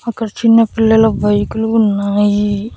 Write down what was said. అక్కడ చిన్న పిల్లల బైకులు ఉన్నాయి.